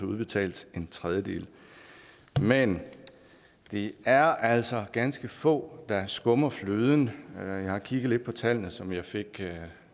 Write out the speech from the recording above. udbetalt en tredjedel men det er altså ganske få der skummer fløden jeg har kigget lidt på tallene som jeg fik